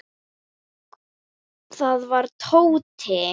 Það var Tóti.